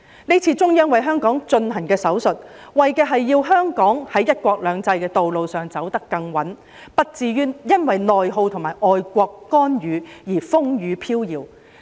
這次中央為香港進行的"手術"，為的是要香港在"一國兩制"的道路上走得更穩，不至於因為內耗及外國干預而風雨飄搖。